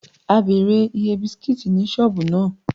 We enquired about the price of biscuit in that shop